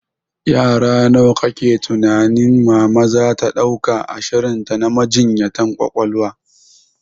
Yara nawa kake tunanin mama zata dauka a shirinta na majinyatan ƙwaƙwalwa?